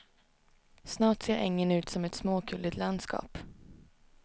Snart ser ängen ut som ett småkulligt landskap.